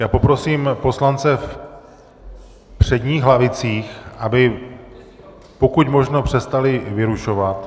Já poprosím poslance v předních lavicích, aby pokud možno, přestali vyrušovat.